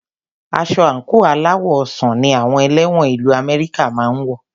Aṣọ àńkò aláwọ̀ ọsàn ní àwọn ẹlẹ́wọ̀n ìlu Amẹ́ríkà máà ń wọ